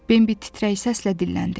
Bembi titrək səslə dilləndi.